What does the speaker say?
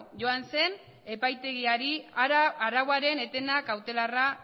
joan zen epaitegiari arauaren eten kautelarra